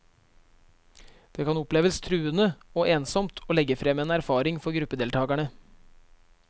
Det kan oppleves truende og ensomt å legge frem en erfaring for gruppedeltakerne.